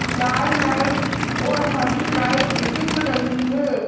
लाल light और हरी light दिख रही है।